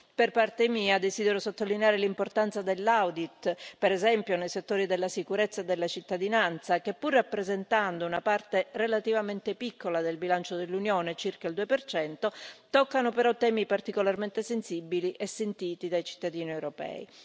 Per parte mia, desidero sottolineare l'importanza dell'audit, per esempio nei settori della sicurezza e della cittadinanza che, pur rappresentando una parte relativamente piccola del bilancio dell'Unione toccano però temi particolarmente sensibili e sentiti dai cittadini europei.